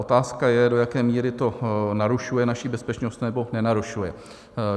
Otázka je, do jaké míry to narušuje naši bezpečnost nebo nenarušuje.